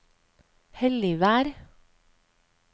Helligvær